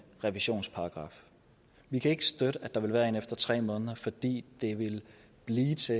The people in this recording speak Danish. revisionsparagraf vi kan ikke støtte at der skal være en efter tre måneder fordi det vil blive til